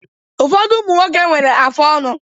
Ụfọdụ ụmụ nwoke nwere afụ ọnụ